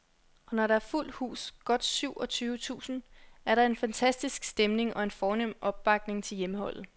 Og når der er fuldt hus, godt syv og tyve tusind, er der en fantastisk stemning og en fornem opbakning til hjemmeholdet.